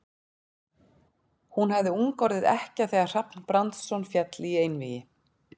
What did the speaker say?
Hún hafði ung orðið ekkja þegar Hrafn Brandsson féll í einvígi.